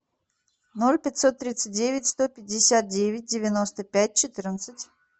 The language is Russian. ноль пятьсот тридцать девять сто пятьдесят девять девяносто пять четырнадцать